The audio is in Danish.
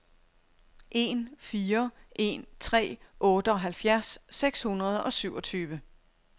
en fire en tre otteoghalvfjerds seks hundrede og syvogtyve